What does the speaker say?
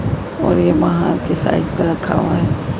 और ये बाहर की साइड पे रखा हुआ--